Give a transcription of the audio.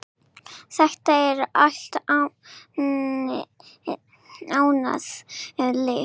Þetta er allt annað líf.